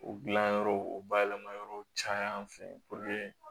O gilan yɔrɔw o bayɛlɛmayɔrɔ caya an fɛ